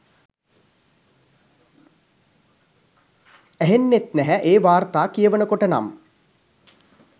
ඇහෙන්නෙත් නැහැ ඒ වාර්තා කියවනකොට නම්.